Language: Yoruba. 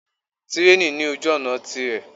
Tírèènì ní ojú-ọ̀nà tirẹ̀.